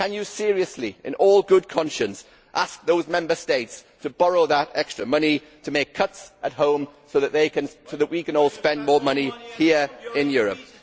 Can you seriously, in all good conscience, ask those Member States to borrow that extra money to make cuts at home so that we can all spend more money here in Europe?